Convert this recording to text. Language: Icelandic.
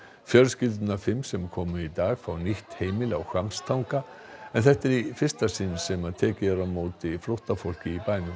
fjölskyldurnar fimm sem komu í dag fá nýtt heimili á Hvammstanga en þetta er í fyrsta sinn sem tekið er á móti flóttafólki í bænum